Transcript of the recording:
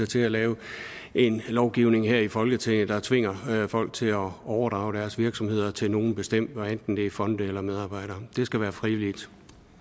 til at lave en lovgivning her i folketinget der tvinger folk til at overdrage deres virksomheder til nogen bestemt hvad enten det er fonde eller medarbejdere det skal være frivilligt